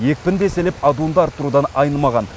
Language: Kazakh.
екпінді еселеп адуынды арттырудан айнымаған